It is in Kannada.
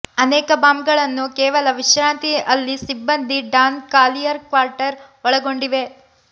ಅನೇಕ ಬಾಂಬ್ಗಳನ್ನು ಕೇವಲ ವಿಶ್ರಾಂತಿ ಅಲ್ಲಿ ಸಿಬ್ಬಂದಿ ಡಾನ್ ಕಾಲಿಯರ್ ಕ್ವಾರ್ಟರ್ ಒಳಗೊಂಡಿವೆ